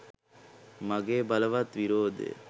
මගේ බලවත් විරෝධය